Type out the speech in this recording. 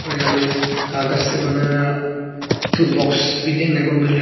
और यहां में कागज से बनाया हुआ दो बॉक्स भी देखने को मिल रहा है।